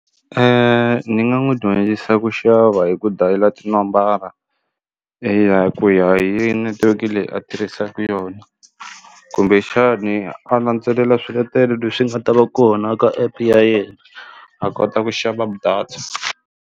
Ni nga n'wi dyondzisa ku xava hi ku dayila tinambara iya hi ku ya hi netiweke leyi a tirhisaku yona kumbexani a landzelela swiletelo leswi nga ta va kona ka app ya yena a kota ku xava data.